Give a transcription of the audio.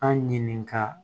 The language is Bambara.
An ɲininka